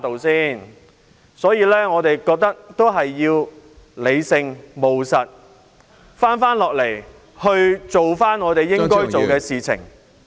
所以，我們應理性、務實地做好我們應做的事。